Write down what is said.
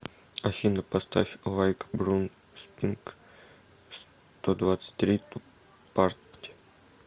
афина поставь лайк брун спринг стодвадцатьтри ту парти